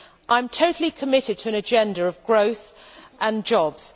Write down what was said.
I am totally committed to an agenda of growth and jobs.